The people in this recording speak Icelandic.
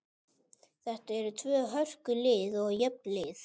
Þetta eru tvö hörku lið og jöfn lið.